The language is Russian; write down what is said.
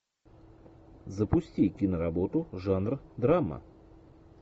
запусти киноработу жанр драма